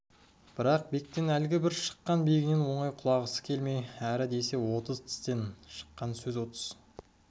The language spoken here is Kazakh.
бірақ бектен әлгі бір шыққан биігінен оңай құлатысы келмей әрі десе отыз тістен шыққан сөз отыз